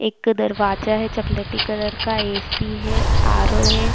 एक दरवाजा है चॉकलेटी कलर का ए.सी. है आ.रो. है।